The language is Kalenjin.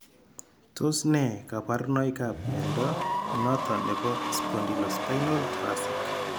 Tos nee kabarunaik ab mnyondo noton nebo Spondylospinal thoracic ?